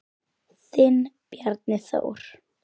Þinn Bjarni Þór.